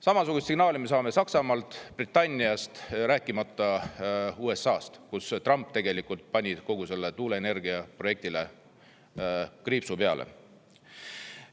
Samasugust signaali saame Saksamaalt, Britanniast, rääkimata USA-st, kus Trump tegelikult pani kogu selle tuuleenergiaprojektile kriipsu peale.